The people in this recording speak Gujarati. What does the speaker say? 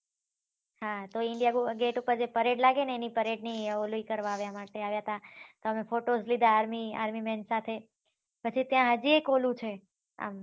હા તો india gate ઉપર જે parade લાગે ને એની પરેડ ની ઓલવી કરવા માટે આવ્યા હતા તો અમે photos લોધા army army મેન સાથે પછી ત્યાં હજી એક ઓલું છે